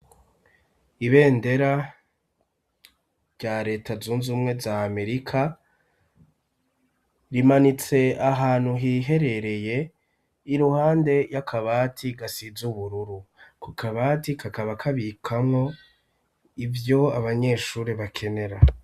Ibendera rya leta zunzumwe za amerika ,rimanitse ahantu hiherereye iruhande y'akabati gasize ubururu ,ko kabati kakaba kabikamwo ivyo abanyeshuri bakenera.